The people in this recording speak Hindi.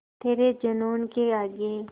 तेरे जूनून के आगे